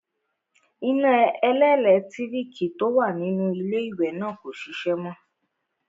Iná ẹlẹ́lẹ̀tíríkì tó wà nínú iléwẹ̀ náà kò ṣiṣẹ́ mọ.